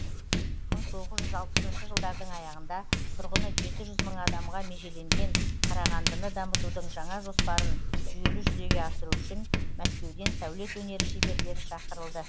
мың тоғыз жүз алпысыншы жылдардың аяғында тұрғыны жеті жүз мың адамға межеленген қарағандыны дамытудың жаңа жоспарын жүйелі жүзеге асыру үшін мәскеуден сәулет өнері шеберлері шақырылды